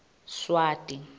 swati